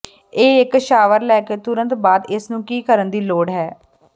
ਇਹ ਇੱਕ ਸ਼ਾਵਰ ਲੈ ਕੇ ਤੁਰੰਤ ਬਾਅਦ ਇਸ ਨੂੰ ਕੀ ਕਰਨ ਦੀ ਲੋੜ ਹੈ